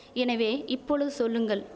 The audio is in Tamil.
எனவே இப்பொழுது சொல்லுங்கள்